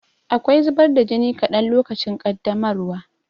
Akwai zubar da jini kaɗan lokacin ƙaddamarwa.